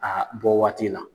A bɔ waati la.